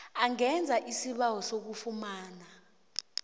angenza isibawo sokufumana